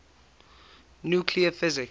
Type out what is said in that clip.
nuclear physics